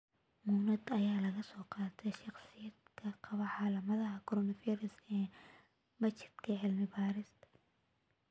Muunado ayaa laga soo qaatay shakhsiyaadka qaba calaamadaha coronavirus ee machadka cilmi-baarista.